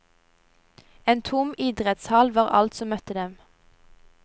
En tom idrettshall var alt som møtte dem.